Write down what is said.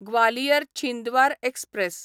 Gwalior Chhindwara express